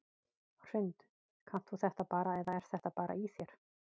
Hrund: Kannt þú þetta bara eða er þetta bara í þér?